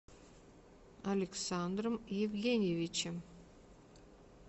александром евгеньевичем